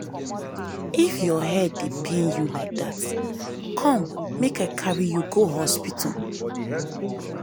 if your head dey pain you like dat come make i carry you go hospital